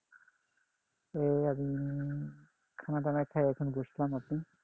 এই উম খানাদানা খেয়ে এখন বসলাম আপনি?